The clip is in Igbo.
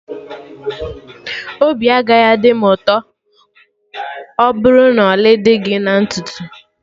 Obi agaghị adị m ụtọ ọbụrụ na ọlị dị gị na ntutu